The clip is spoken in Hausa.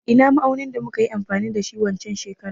Ina ma'aunin da muka yi amfani da shi waccen shekarar?